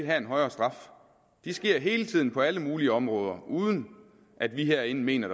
være en højere straf det sker hele tiden på alle mulige områder uden at vi herinde mener